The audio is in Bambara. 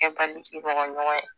Fɛn ba mɔgɔ ɲɔgɔn ye